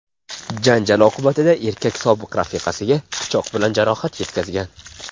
Janjal oqibatida erkak sobiq rafiqasiga pichoq bilan jarohat yetkazgan.